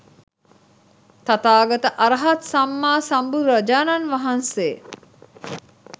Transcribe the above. තථාගත අරහත් සම්මා සම්බුදුරජාණන් වහන්සේ